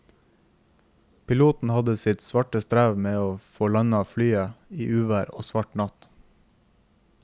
Piloten hadde sitt svare strev med å få landet flyet i uvær og svart natt.